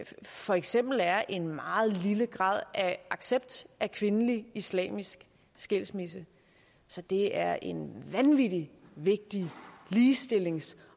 for eksempel er en meget lille grad af accept af kvindelig islamisk skilsmisse så det er en vanvittig vigtig ligestillings